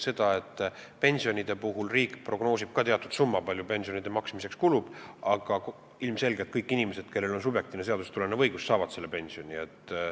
Pensionide puhul riik prognoosib ka teatud summa, kui palju pensionide maksmiseks kulub, aga ilmselgelt kõik inimesed, kellel on seadusest tulenev subjektiivne õigus, saavad pensioni.